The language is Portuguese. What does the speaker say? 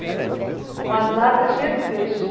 Com as latras cheias de peixe.